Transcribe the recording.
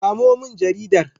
Samo min jaridar.